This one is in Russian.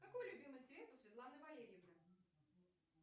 какой любимый цвет у светланы валерьевны